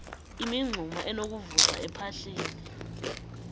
imingxuma enokuvuza ephahleni